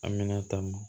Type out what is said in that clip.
An mina taa m